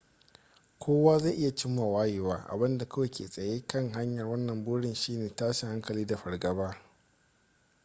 kowa zai iya cimma wayewa abinda kawai ke tsaye kan hanyar wannan burin shine tashin hankali da fargaba